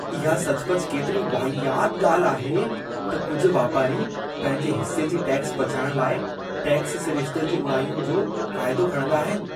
इहा सचुपचु केतिरी वाहियात ॻाल्हि आहे त कुझु वापारी पंहिंजे हिस्से जी टैक्स बचाइण लाइ टैक्स सिरिश्ते जी उणाईयुनि जो फ़ाइदो खणंदा आहिनि।